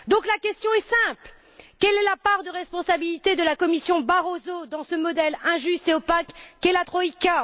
La question est simple quelle est la part de responsabilité de la Commission Barroso dans ce modèle injuste et opaque qu'est la troïka?